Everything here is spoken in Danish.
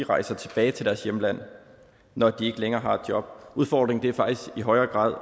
rejser tilbage til deres hjemland når de ikke længere har et job udfordringen er faktisk i højere grad